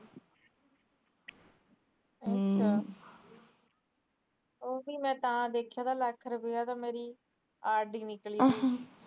ਹਮ ਉਹ ਵੀ ਮੈ ਤਾ ਦੇੇਖਿਆ ਲੱਖ ਰੂਪੀਆਂ ਤਾ ਮੇਰੀ ਆਰ ਡੀ ਨਿਕਲੀ ਤੀ